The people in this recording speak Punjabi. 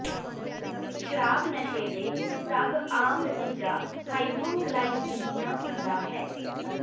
ਸ਼ਰਾਬ ਨਸ਼ੇ ਦੇ ਸਭ ਆਮ ਨਤੀਜਾ ਹਾਈਪੋਗਲਾਈਸੀਮੀਆ ਹੁੰਦਾ ਹੈ